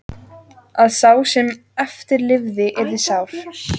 Að sá sem eftir lifði yrði sár.